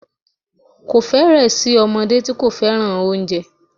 Kò fẹ́rẹ̀ẹ́ sí ọmọdé tí kò fẹ́ràn oúnjẹ